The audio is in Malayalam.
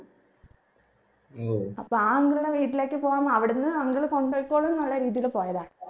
അപ്പോ ആ uncle ന്റെ വീട്ടിലേക്ക് പോവണം അവിടുന്ന് uncle കൊണ്ടോയിക്കോളും ന്നുള്ള രീതിയിൽ പോയതാ